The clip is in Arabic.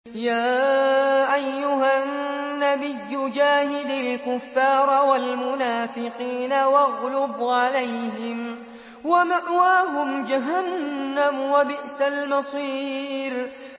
يَا أَيُّهَا النَّبِيُّ جَاهِدِ الْكُفَّارَ وَالْمُنَافِقِينَ وَاغْلُظْ عَلَيْهِمْ ۚ وَمَأْوَاهُمْ جَهَنَّمُ ۖ وَبِئْسَ الْمَصِيرُ